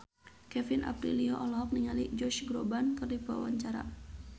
Kevin Aprilio olohok ningali Josh Groban keur diwawancara